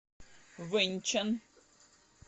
вэньчан